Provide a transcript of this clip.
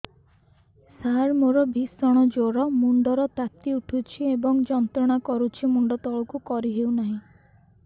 ସାର ମୋର ଭୀଷଣ ଜ୍ଵର ମୁଣ୍ଡ ର ତାତି ଉଠୁଛି ଏବଂ ଯନ୍ତ୍ରଣା କରୁଛି ମୁଣ୍ଡ ତଳକୁ କରି ହେଉନାହିଁ